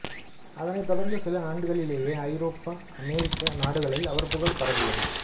அதனைத் தொடர்ந்து சில ஆண்டுகளிலேயே ஐரோப்பாஅமெரிக்க நாடுகளில் அவர் புகழ் பரவியது